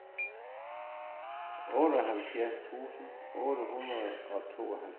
otteoghalvfjerds tusind otte hundrede og tooghalvfjerds